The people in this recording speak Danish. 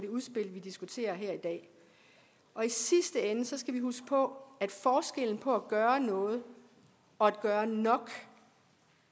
udspil vi diskuterer her i dag og i sidste ende skal vi huske på at forskellen på at gøre noget og at gøre nok